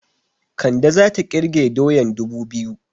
Kande zata ƙirge doyan dubu biyu